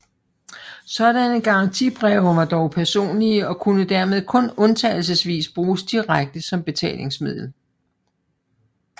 Sådanne garantibreve var dog personlige og kunne dermed kun undtagelsesvis bruges direkte som betalingsmiddel